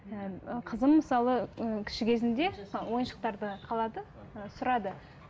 ы қызым мысалы і кіші кезінде ойыншықтарды қалады ы сұрады